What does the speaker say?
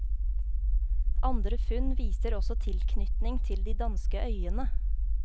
Andre funn viser også tilknytning til de danske øyene.